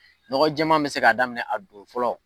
Nɔgɔ jɛma bɛ se k'a daminɛ a don ko fɔlɔ.